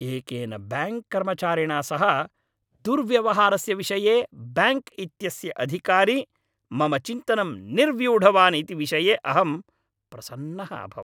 एकेन बैङ्क् कर्मचारिणा सह दुर्व्यवहारस्य विषये बैङ्क् इत्यस्य अधिकारी मम चिन्तनं निर्व्यूढवान् इति विषये अहं प्रसन्नः अभवम्।